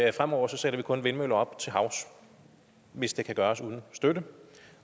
at fremover sætter vi kun vindmøller op til havs hvis det kan gøres uden støtte